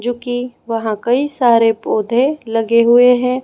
जो की वहां कई सारे पौधे लगे हुए हैं।